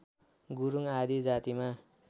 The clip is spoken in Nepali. गुरुङ आदि जातिमा